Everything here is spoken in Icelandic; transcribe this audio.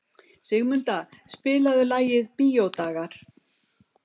Sigurmunda, spilaðu lagið „Bíódagar“.